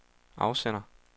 afsender